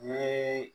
Ni